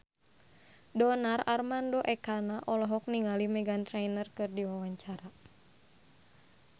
Donar Armando Ekana olohok ningali Meghan Trainor keur diwawancara